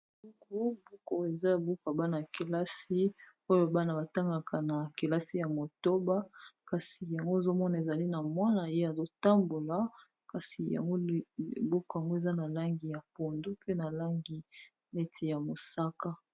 Buku buku eza buka bana yakelasi oyo bana batangaka na kelasi ya motoba kasi yango ezomona ezali na mwana ye azotambola kasi buku yango eza na langi ya pondu pe na langi neti ya mosaka.